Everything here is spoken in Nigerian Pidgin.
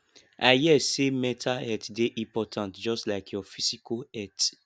i hear sey mental health dey important just like your physical health